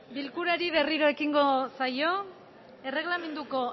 bilkurari berriro ekingo saio erreglamenduko